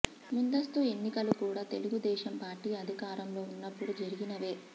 ముందస్తు ఎన్నికలు కూడా తెలుగుదేశం పార్టీ అధికారంలో ఉన్నప్పుడు జరిగినవే